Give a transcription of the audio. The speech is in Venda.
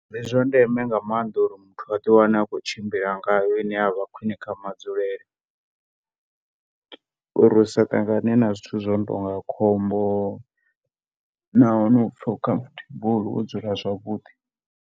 Ndi zwa ndeme nga maanḓa uri muthu a ḓi wane a tshi khou tshimbila ngayo i ne ya vha khwine kha madzulele uri u sa ṱangane na zwithu zwi no tou nga khombo na u pfha uri wo dzula zwavhuḓi.